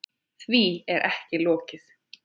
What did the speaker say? Því er ekki lokið.